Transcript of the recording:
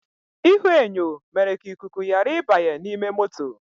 Ihuenyo mere ka ikuku ghara ịbanye n’ime moto